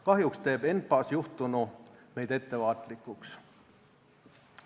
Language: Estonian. Kahjuks teeb ENPA-s juhtunu meid ettevaatlikuks.